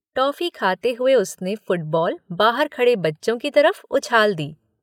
Toffee खाते हुए उसने फुटबॉ़ल बाहर खड़े बच्चों की तरफ उछाल दी।